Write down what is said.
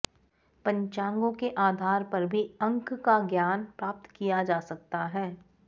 पञ्चाङ्गों के आधार पर भी अंक का ज्ञान प्राप्त किया जा सकता है